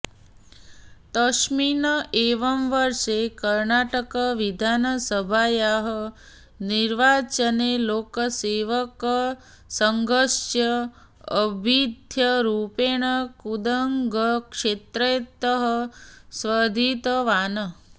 तस्मिन् एव वर्षे कर्णाटकविधासभायाः निर्वाचने लोकसेवकसङ्घस्य अभ्यर्थिरूपेण कुन्दगल्क्षेत्रतः स्पर्धितवान्